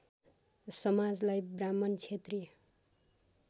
समाजलाई ब्राह्मण क्षेत्रीय